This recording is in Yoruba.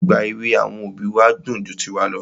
Ìgbà èwè àwọn òbí wa dùn ju tiwa lọ.